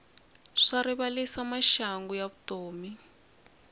swa rivalisa maxangu ya vutomi